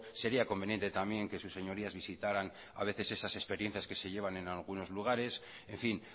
sería conveniente también que sus señorías visitaran a veces esas experiencias que se llevan en algunos lugares en fin